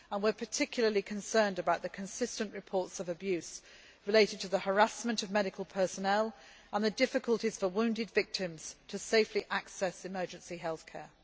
We are particularly concerned about the consistent reports of abuse related to the harassment of medical personnel and difficulties for wounded victims to safely access emergency health